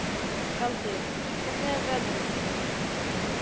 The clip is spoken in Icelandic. Galdur, hvernig er veðrið úti?